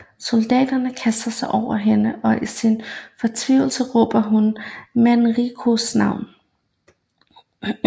Soldaterne kaster sig over hende og i sin fortvivlelse råber hun Manricos navn